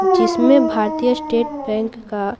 जिसमें Bharatiya state bank का--